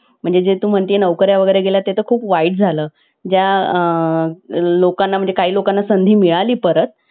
three idiots आहे त्याम, त्यामध्ये खुप प्रमाणात आपल्याला comedy खेळून हसवलेलं आहे यामध्ये अं खूपच comedy आहे अमीर खान अं अजून दुसरे actors आहेत